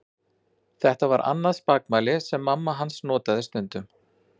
Þetta var annað spakmæli sem mamma hans notaði stundum.